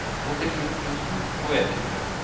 åttisju tusen og ett hundre